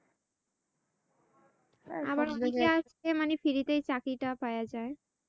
আবার অনেকেই আছে যারা মানি free তেই চাকরিটা পাইয়া যায়।